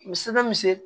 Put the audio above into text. Misi bɛ misi